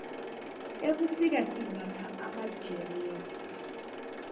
ebusika simbatha amajeresi